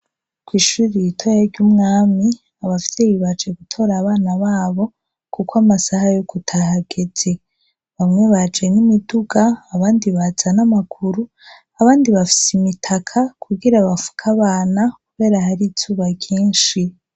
kw’ishuri ritoya ry'umwami ,abavyeyi baje gutora abana babo kukw’amasaha yo kutaha ageze, bamwe baje n'imiduga abandi baza n ‘ amaguru abandi bafis’imitaka kugira bafuk’abana kubera har’izuba ryinshi.